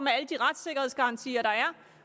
alle de retssikkerhedsgarantier der er